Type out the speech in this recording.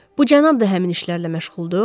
Bu cənab da həmin işlərlə məşğuldur?